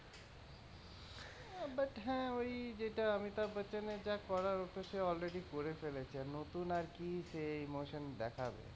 but ও হ্যাঁ ই যেটা অমিতাভ বচ্চনের যা করার হত সে already করে ফেলেছে নতুন আর কি সে emotion দেখাবে।